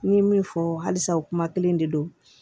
N ye min fɔ halisa u kuma kelen de don